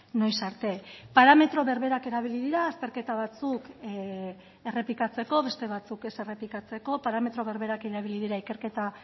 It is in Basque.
noiz arte parametro berberak erabili dira azterketa batzuk errepikatzeko beste batzuk ez errepikatzeko parametro berberak erabili dira ikerketa